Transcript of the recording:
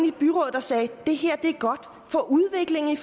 der sagde det her er godt for udviklingen i